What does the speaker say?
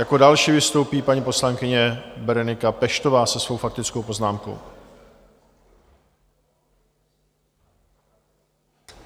Jako další vystoupí paní poslankyně Berenika Peštová se svou faktickou poznámkou.